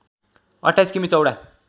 २८ किमी चौडा